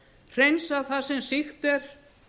hreinsa það sem sýkt er